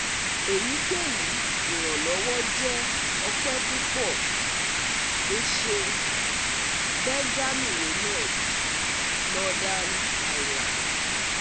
Eyikeyi iranlọwọ jẹ ope pupọ!!! O ṣeun, Benjamin Reynolds (Northern Ireland)